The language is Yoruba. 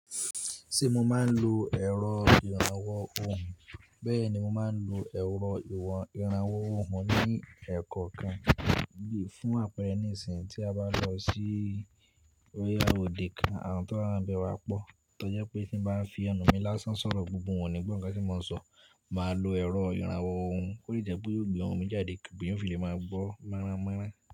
Ṣé mo máa ń lo ẹ̀rọ ìrànwọ́ ohùn? Bẹ́ẹ̀ ni mo máa ń lo ẹ̀rọ ìrànwọ́ ohùn ní ẹ́kọ̀ kan fún àpẹẹrẹ ní ìsìnyí tí a bá lọ sí bóyá òde kan, àwọn tó wá ń bẹ wá pọ̀ tó jẹ́ pé tí ń bá fi ẹnu mi lásán sọ̀rọ̀ gbogbo wọn ò ni gbọ́ ǹkan tí mo ń sọ. Màá lo ẹ̀rọ ìrànwọ́ ohùn, kò lè je pé yẹ ó gbé ohùn mi jáde kí gbogbo èyàn ò fi lè máa gbọ́ mọ́rá mọ́rá.